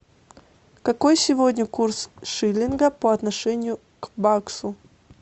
какой сегодня курс шиллинга по отношению к баксу